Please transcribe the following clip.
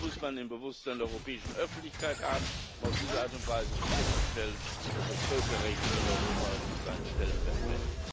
Das muss man im Bewusstsein europäischen Öffentlichkeit haben, um auf diese Art und Weise sicherzustellen, dass das Völkerrecht in Europa sein Stellenwert behält.